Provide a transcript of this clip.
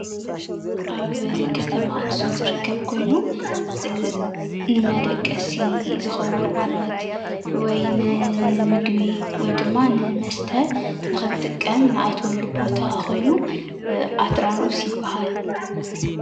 ኣብ ከተማ ኣኽሱም ዝርከብ ኮይኑ ንመደቀሲ ዝኸዉን ዓራት ወይ ንምግቢ ወይ ድማ ንመስተ ንኽንጥቀም ንኣትወሉ ቦታ ኾይኑ ኣትራኖስ ይብሃል።